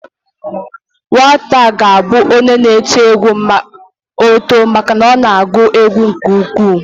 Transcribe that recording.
Nwata a ga abụnwu onye n'eti egwu ma o too maka na ọ na agụ egwu nke ukwuu